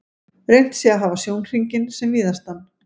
Reynt sé að hafa sjónhringinn sem víðastan.